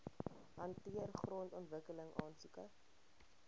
hanteer grondontwikkeling aansoeke